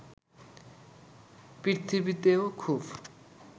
পৃথিবীতেও খুব